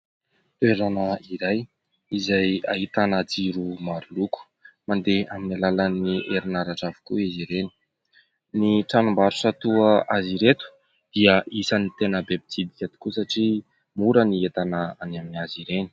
Toerana iray izay ahitana jiro maroloko, mandeha amin'ny alalan'ny herinaratra avokoa izy ireny. Ny tranombarotra toa azy ireto dia isany tena be mpitsidika tokoa satria mora ny entana any amin'ny izy ireny.